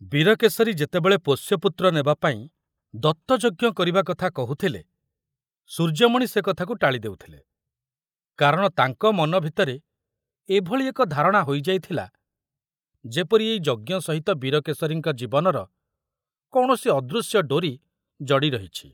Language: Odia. ବୀରକେଶରୀ ଯେତେବେଳେ ପୋଷ୍ୟପୁତ୍ର ନେବାପାଇଁ ଦତ୍ତଯଜ୍ଞ କରିବା କଥା କହୁଥିଲେ, ସୂର୍ଯ୍ୟମଣି ସେ କଥାକୁ ଟାଳି ଦେଉଥିଲେ, କାରଣ ତାଙ୍କ ମନ ଭିତରେ ଏଭଳି ଏକ ଧାରଣା ହୋଇଯାଇଥିଲା ଯେପରି ଏଇ ଯଜ୍ଞ ସହିତ ବୀରକେଶରୀଙ୍କ ଜୀବନର କୌଣସି ଅଦୃଶ୍ୟ ଡୋରି ଜଡ଼ି ରହିଛି।